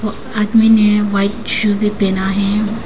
आदमी ने white shoe भी पहना है।